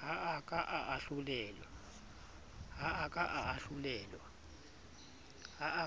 ha a